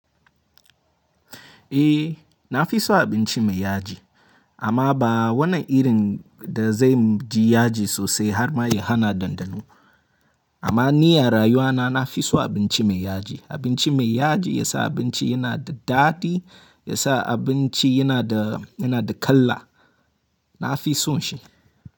Eh, na fi son abinci mai yaji. Amma ba wannan irin da zai ji yaji sosai har ma ya hana dandano. Amma ni a rayuwa na, na fi son abinci mai yaji. Abinci mai yaji ya sa abinci yana da daɗi, ya sa abinci yana da, yana da kala. Na fi son shi.